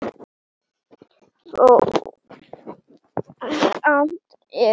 Fólkið mitt sagði sögur.